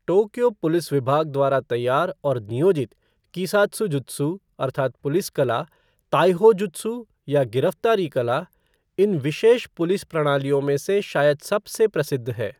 Tokyo police विभाग द्वारा तैयार और नियोजित कीसात्सुजुत्सु अर्थात् पुलिस कला, ताइहो जुत्सु या गिरफ्तारी कला, इन विशेष पुलिस प्रणालियों में से शायद सबसे प्रसिद्ध है।